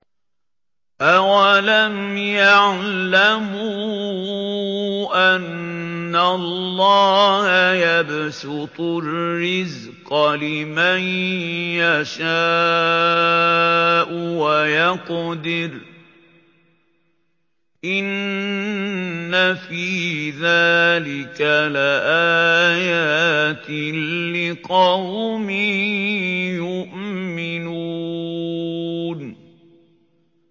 أَوَلَمْ يَعْلَمُوا أَنَّ اللَّهَ يَبْسُطُ الرِّزْقَ لِمَن يَشَاءُ وَيَقْدِرُ ۚ إِنَّ فِي ذَٰلِكَ لَآيَاتٍ لِّقَوْمٍ يُؤْمِنُونَ